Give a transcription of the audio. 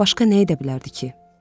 Başqa nə edə bilərdi ki?